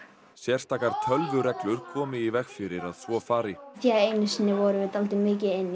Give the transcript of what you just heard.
sérstakar komi í veg fyrir að svo fari einu sinni vorum við dálítið mikið